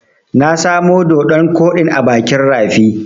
Na samo doɗon koɗin ne a bakin rafi.